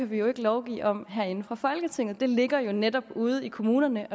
vi kan lovgive om herinde fra folketinget det ligger jo netop ude i kommunerne